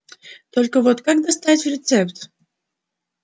только вот как достать рецепт